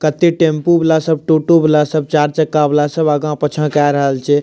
कते टेम्पू वाला सब टोटो वाला सब चार चक्का वाला सब आगां पीछा कर रहल छे।